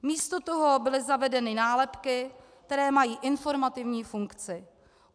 Místo toho byly zavedeny nálepky, které mají informativní funkci.